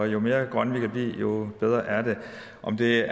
jo mere grønne vi kan blive jo bedre er det om det er